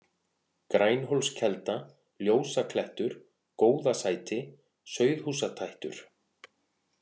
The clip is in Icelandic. Grænhólskelda, Ljósaklettur, Góðasæti, Sauðhúsatættur